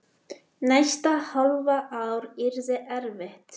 Næsta hálfa ár yrði erfitt.